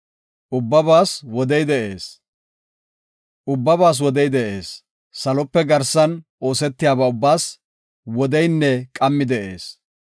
Ubbabaas wodey de7ees; salope garsan oosetiyaba ubbaas wodeynne qammi de7ees.